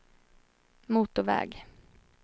motorväg